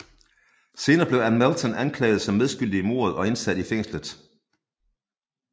Senere blev Ann Melton anklaget som medskyldig i mordet og indsat i fængslet